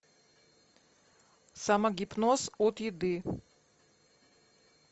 самогипноз от еды